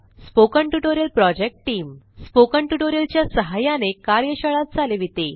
spoken tutorial project team spoken tutorials च्या सहाय्याने कार्यशाळा चालविते